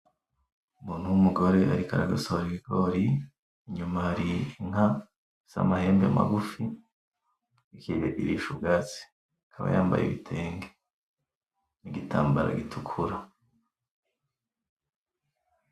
Umuntu wumugore ariko aragosora ibigori, inyuma hari inka ifise amahembe magufi iriko irisha ubwatsi akaba yambaye igitenge n'igitambara gitukura .